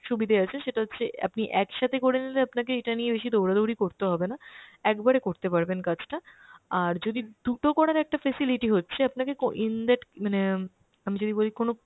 সুবিধে আছে সেটা হচ্ছে আপনি একসাথে করে নিলে আপনাকে এটা নিয়ে বেশি দৌড়াদৌড়ি করতে হবে না, একবারে করতে পারবেন কাজটা। আর যদি দু'টো করার একটা facility হচ্ছে আপনাকে কো~ in that মানে আমি যদি বলি কোনো